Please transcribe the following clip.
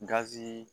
Gazi